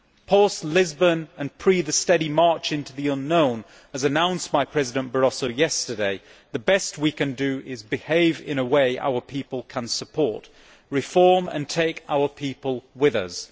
Post Lisbon, and prior to the steady march into the unknown as announced by President Barroso yesterday, the best we can do is behave in a way our people can support reform and take our people with us.